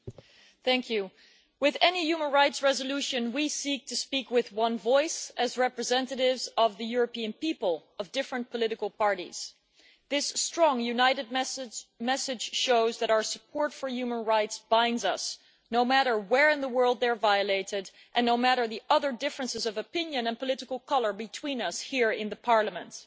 Mr President, with any human rights resolution we seek to speak with one voice, as representatives of the European people and of different political parties. This strong, united message shows that our support for human rights binds us, no matter where in the world those rights are violated and no matter the other differences of opinion and political colour between us here in the Parliament.